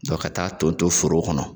Dɔn ka taa ton ton foro kɔnɔ